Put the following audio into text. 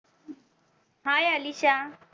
Hi Alisha